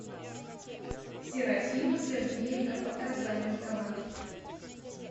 серафима сергеевна показанникова